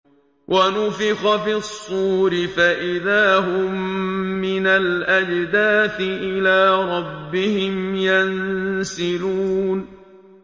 وَنُفِخَ فِي الصُّورِ فَإِذَا هُم مِّنَ الْأَجْدَاثِ إِلَىٰ رَبِّهِمْ يَنسِلُونَ